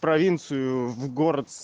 провинцию в город